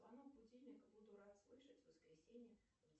звонок будильника буду рад слышать в воскресенье